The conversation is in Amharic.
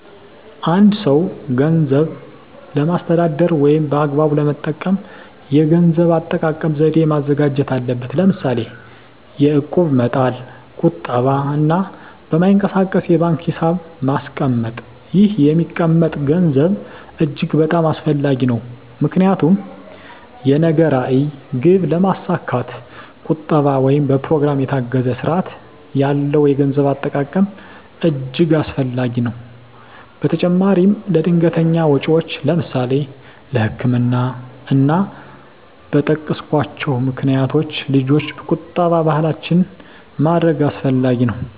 አ አንድ ሰው ገንዘብን ለማስተዳደር ወይም በአግባቡ ለመጠቀም የገንዘብ አጠቃቀም ዘዴ ማዘጋጀት አለበት ለምሳሌ የእቁብ መጣል ቁጠባ እና በማይንቀሳቀስ የባንክ ሒሳብ ማስቀመጥ ይህ የሚቀመጠም ገንዘብ እጅግ በጣም አስፈላጊ ነው ምክንያቱም የነገ ራዕይ ግብ ለማስካት ቁጠባ ወይም በኘሮግራም የታገዘ ስርአት ያለው የገንዘብ አጠቃቀም እጅገ አስፈላጊ ነገር ነው በተጨማራም ለድንገተኛ ወጨወች ለምሳሌ ለህክምና እና እና በጠቀስኮቸው ምክንያቶች ልጆች ቁጠባ ባህላችን ማድረግ አስፈላጊ ነው።